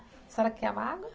A senhora quer amargo?